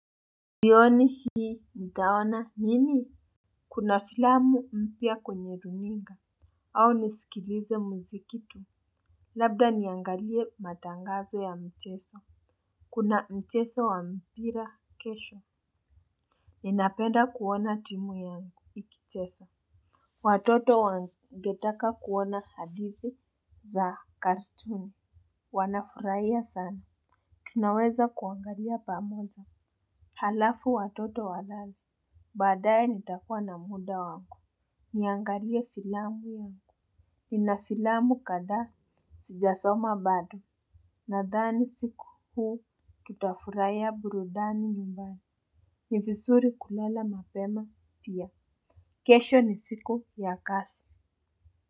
Jioni hii nitaona nini? Kuna filamu mpya kwenye runinga. Au nisikilize mziki tu. Labda niangalie matangazo ya mchezo. Kuna mchezo wa mpira kesho. Ninapenda kuona timu yangu ikicheza. Watoto wangetaka kuona hadithi za katuni. Wanafurahia sana. Tunaweza kuangalia pamoja. Alafu watoto walale. Baadaye nitakuwa na muda wangu. Niangalie filamu yangu. Nina filamu kadhaa sijasoma bado. Nadhani siku huu tutafurahia burudani nyumbani. Ni vizuri kulala mapema pia. Kesho ni siku ya kazi.